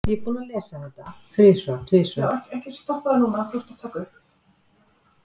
Útgjöldin skiptast á milli málaflokka á eftirfarandi hátt: Smellið á myndina til að stækka hana.